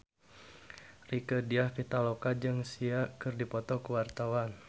Rieke Diah Pitaloka jeung Sia keur dipoto ku wartawan